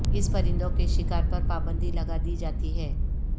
اس پرندوں کے شکار پر پابندی لگا دی جاتی ہے